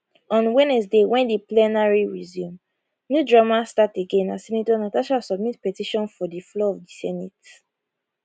on wednesday wen di plenary resume new drama start again as senator natasha submit petition for di floor of di senate